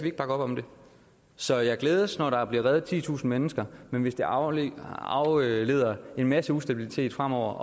ikke bakke op om det så jeg glædes når der bliver reddet titusind mennesker men hvis det afleder afleder en masse ustabilitet fremover